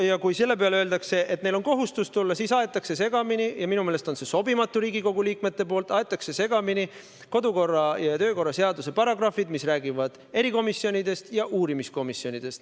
Ja kui selle peale öeldakse, et neil on kohustus tulla, siis aetakse segamini – ja minu meelest on see Riigikogu liikmetele sobimatu – kodu- ja töökorra seaduse paragrahvid, mis räägivad erikomisjonidest ja uurimiskomisjonidest.